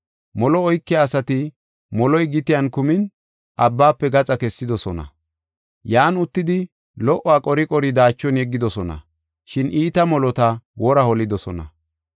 Molo oykiya asati moloy gitiyan kumin abbaafe gaxa kessidosona. Yan uttidi lo77uwa qori qori daachon yeggidosona, shin iita molota wora holidosona.